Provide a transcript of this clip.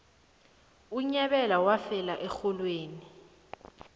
unyabela wafela erholweni